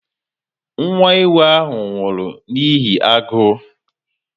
Nwa ewu ahụ nwụrụ n'ihi agụụ